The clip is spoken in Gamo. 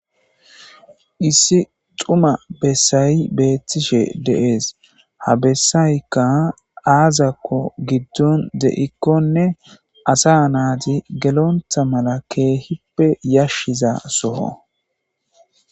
Issi dhuma besay betishe de'es Ha besayka aze gikko azakon gidon dikone asa nati gelonta mala kehippe yashiza soho